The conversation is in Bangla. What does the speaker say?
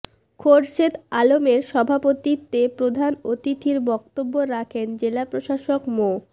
খোরশেদ আলমের সভাপতিত্বে প্রধান অতিথির বক্তব্য রাখেন জেলা প্রশাসক মো